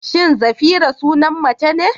Shin Zafira sunan mace ne?